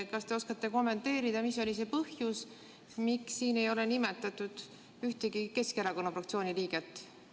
Kas te oskate kommenteerida, mis oli see põhjus, miks siin ei ole nimetatud ühtegi Keskerakonna fraktsiooni liiget?